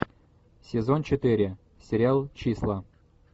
сезон четыре сериал числа